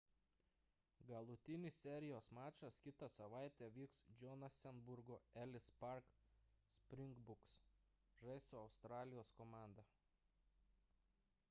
galutinis serijos mačas kitą savaitę vyks johanesburgo ellis park – springboks žais su australijos komanda